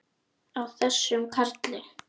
Á þessum karli!